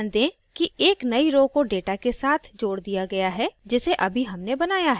ध्यान दें कि एक नई row को data के साथ जोड दिया गया है जिसे अभी हमने बनाया है